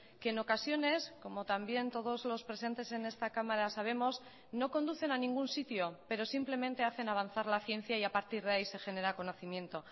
que en ocasiones como también todos los presentes en esta cámara sabemos no conducen a ningún sitio pero simplemente hacen avanzar la ciencia y a partir de ahí se genera conocimiento